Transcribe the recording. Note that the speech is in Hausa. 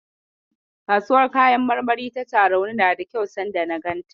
Kasuwar kayan marmari ta Tarauni nada kyau sanda na ganta.